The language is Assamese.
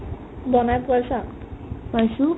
বনাই পাইছা ?